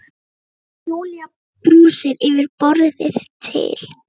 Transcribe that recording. Og Júlía brosir yfir borðið til